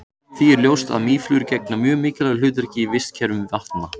Það er því ljóst að mýflugur gegna mjög mikilvægu hlutverki í vistkerfum vatna.